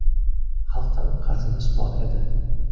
Xalqdan qarzimiz bor edi.